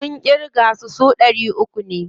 Mun ƙirga su, su ɗari uku ne.